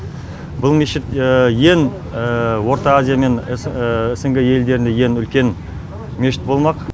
бұл мешіт ең орта азия мен снг елдерінде ең үлкен мешіт болмақ